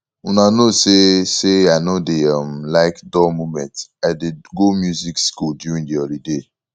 una know say say i no dey um like dull moment i dey go music school during the holiday